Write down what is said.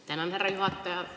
Tänan, härra juhataja!